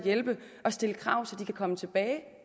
at hjælpe og stille krav så de kan komme tilbage